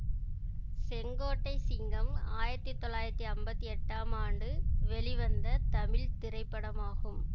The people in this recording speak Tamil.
செங்கோட்டை சிங்கம் ஆயிரத்தி தொள்ளாயிரத்தி அம்பத்தி எட்டாம் ஆண்டு வெளிவந்த தமிழ் திரைப்படமாகும்